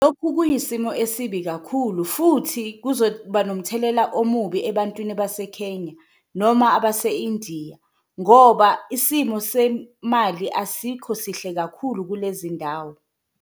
Lokhu kuyisimo esibi kakhulu futhi kuzoba nomthelela omubi ebantwini abase-Kenya noma abase-Indiya, ngoba isimo semali asikho sihle kakhulu kulezi ndawo.